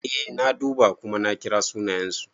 Eh na duba kuma na kira sunayensu.